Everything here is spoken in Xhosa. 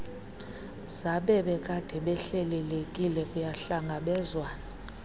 zabebekade behlelelekile kuyahlangabezwana